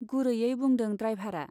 गुरैयै बुंदों ड्राइभारा।